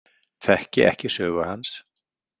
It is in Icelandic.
Þekki ekki sögu hans.